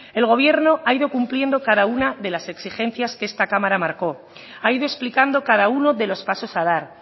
el gobierno ha ido cumpliendo cada una de las exigencias que esta cámara marcó ha ido explicando cada uno de los pasos a dar